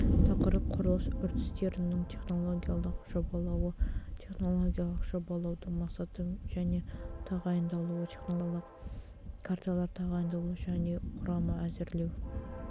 тақырып құрылыс үрдістерінің технологиялық жобалауы технологиялық жобалаудың мақсаты және тағайындалуы технологиялық карталар тағайындалуы және құрамы әзірлеу